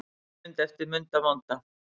Stuttmynd eftir Munda vonda